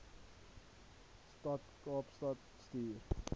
stad kaapstad stuur